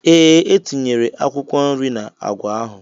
Ee, etinyere akwụkwọ nri n'agwa ahụ.